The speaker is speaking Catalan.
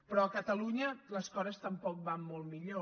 però a catalunya les coses tampoc van molt millor